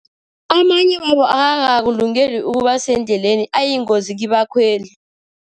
Amanye wawo akakakulungeli ukuba sendleleni, ayingozi kibakhweli.